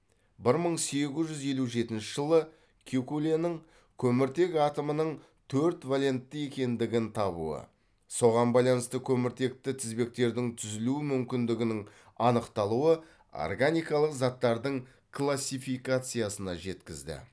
бір мың сегіз жүз елу жетінші жылы кекуленің көміртек атомының төрт валентті екендігін табуы соған байланысты көміртекті тізбектердің түзілу мүмкіндігінің анықталуы органикалық заттардың классификациясына жеткізді